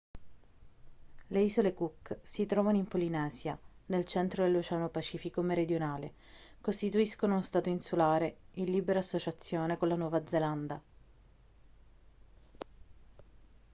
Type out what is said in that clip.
le isole cook si trovano in polinesia nel centro dell'oceano pacifico meridionale costituiscono uno stato insulare in libera associazione con la nuova zelanda